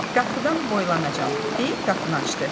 Qapıdan boylanacam, deyib qapını açdı.